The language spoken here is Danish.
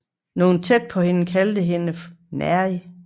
Nogle tæt på hende kaldte hende nærig